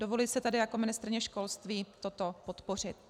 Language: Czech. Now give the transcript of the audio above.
Dovoluji si tedy jako ministryně školství toto podpořit.